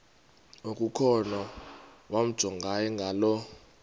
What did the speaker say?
okukhona wamjongay ngaloo